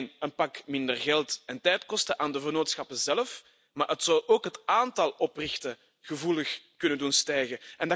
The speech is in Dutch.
Dat zou niet alleen een pak minder geld en tijd kosten voor de vennootschappen zelf, maar het zou ook het aantal oprichtingen gevoelig kunnen doen stijgen.